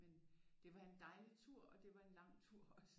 Men det var en dejlig tur og det var en lang tur også